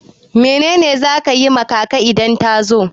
Mene ne za ka yi ma kaka idan ya zo?